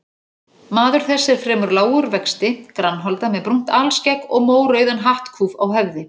Maður þessi er fremur lágur vexti, grannholda með brúnt alskegg og mórauðan hattkúf á höfði.